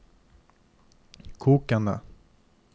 kokende